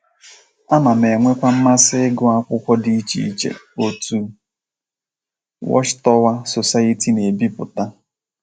Ana m enwekwa mmasị ịgụ akwụkwọ dị iche iche otu Watch Tower Society na - ebipụta.